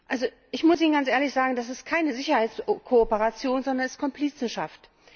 Also, ich muss Ihnen ganz ehrlich sagen, das ist keine Sicherheitskooperation, sondern Komplizenschaft.